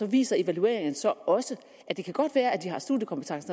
viser evalueringerne så også at det godt kan være at de har studiekompetence